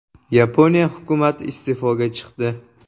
Yaponiya hukumati iste’foga chiqdi.